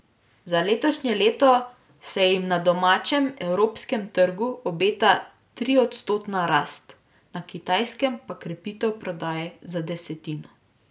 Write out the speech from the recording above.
Za letošnje leto se jim na domačem, evropskem trgu, obeta triodstotna rast, na Kitajskem pa krepitev prodaje za desetino.